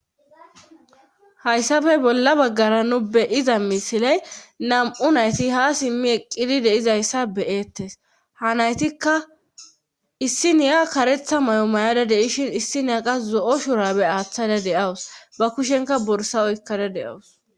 Hayssafe bolla baggara nu beyiza misiley nam7u nayti ha simmi eqqidi deizayssa beyeettes ha naytikka issi niya karetha may7o may7ada deishin issiniya qa zo7o shurabe aaththada deawus ba kushenka borsa oykkada deawus.